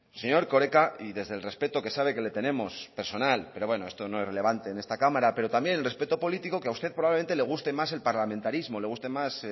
señor erkoreka y desde el respeto que sabe que le tenemos personal pero bueno esto no es relevante en esta cámara pero también el respeto político que a usted probablemente le guste más el parlamentarismo le guste más